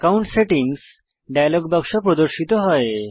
account settings dialog বাক্স প্রদর্শিত হয়